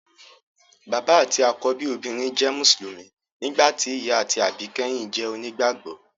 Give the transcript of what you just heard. Bàbá àti àkọ́bí obìnrin jẹ́ mùsùlùmí, nígbà tí ìyá àti àbíkẹ́yìn jẹ́ onígbàgbọ́